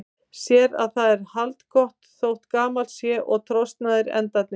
Sér að það er haldgott þótt gamalt sé og trosnaðir endarnir.